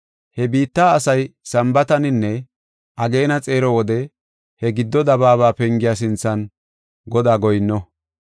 He biitta asay Sambaataninne ageena xeero wode he gido dabaaba pengiya sinthan Godaa goyinno.